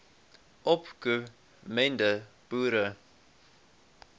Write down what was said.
opko mende boere